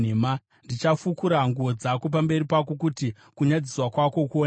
Ndichafukura nguo dzako pamberi pako, kuti kunyadziswa kwako kuonekwe,